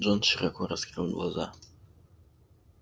джон широко раскрыл глаза